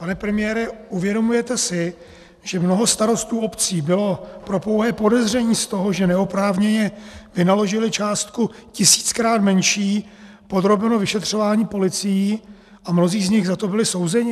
Pane premiére, uvědomujete si, že mnoho starostů obcí bylo pro pouhé podezření z toho, že neoprávněně vynaložili částku tisíckrát menší, podrobeno vyšetřování policií a mnozí z nich za to byli souzeni?